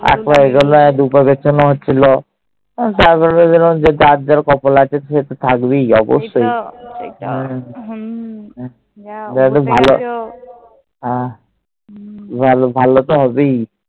এক পা এগোনো, দু পা পেছোনো হচ্ছিল। তারপর ভেবেছিলাম যার যার কপালে আছে, সে তো থাকবে অবশ্যই। ভালো তো হবেই।